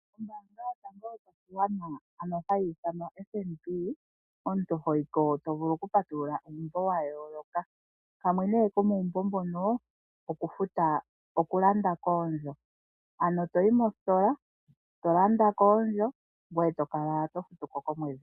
Ombaanga yotango yopashigwana ano hayi ithanwa FNB, omuntu hoyi ko to vulu okupatulula uumbo wa yooloka. Kamwe komuumbo mbono okulanda koondjo, ano to yi mositola to landa koondjo ngoye to kala to futu ko komwedhi.